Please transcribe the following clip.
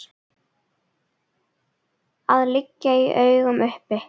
að liggja í augum uppi.